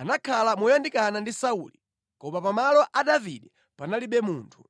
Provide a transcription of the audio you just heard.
anakhala moyandikana ndi Sauli, koma pa malo a Davide panalibe munthu.